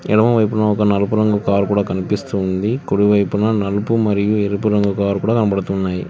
ఎడమ వైపున ఒక నలుపు రంగు కార్ కూడా కనిపిస్తుంది కుడివైపున నలుపు మరియు ఎరుపు రంగు కారు కూడా కనబడుతున్నాయి.